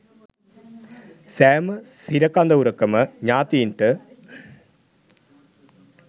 සෑම සිර කඳවුරකම ඥාතීන්ට